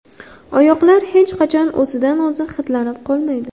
Oyoqlar hech qachon o‘zidan o‘zi hidlanib qolmaydi.